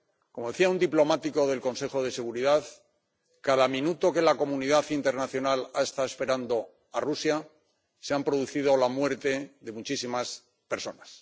Como decía un diplomático del Consejo de Seguridad, cada minuto que la comunidad internacional ha estado esperando a Rusia, se ha producido la muerte de muchísimas personas.